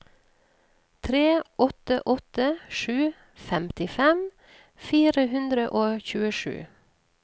tre åtte åtte sju femtifem fire hundre og tjuesju